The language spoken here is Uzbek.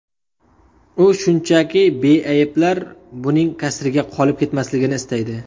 U shunchaki beayblar buning kasriga qolib ketmasligini istaydi.